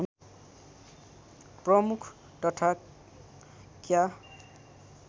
प्रमुख तथा क्या